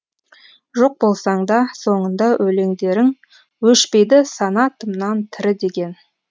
жоқ болсаң да соңыңда өлеңдерің өшпейді санатымнан тірі деген